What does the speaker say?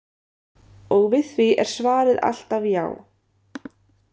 Og við því er svarið alltaf já.